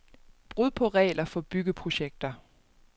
Brud på regler for byggeprojekter.